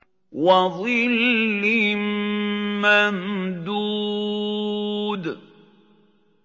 وَظِلٍّ مَّمْدُودٍ